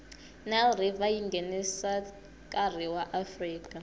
nile river yingenashikarhi ka afrika